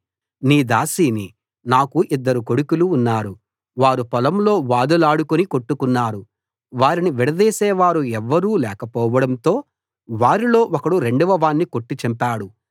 నీ దాసిని నాకు ఇద్దరు కొడుకులు ఉన్నారు వారు పొలంలో వాదులాడుకుని కొట్టుకున్నారు వారిని విడదీసేవారు ఎవ్వరూ లేకపోవడంతో వారిలో ఒకడు రెండవవాణ్ణి కొట్టి చంపాడు